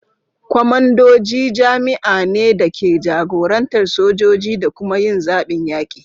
Kwamandoji jami'ai ne da ke jagorantar sojoji da kuma yin zaɓin yaƙi.